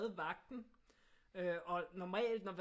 Vagten og øh normalt